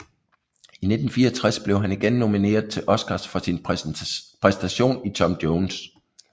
I 1964 blev han igen nomineret til Oscar for sin præstation i Tom Jones